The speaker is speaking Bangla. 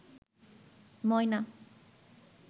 ময়না